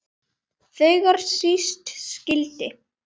Þegar síst skyldi.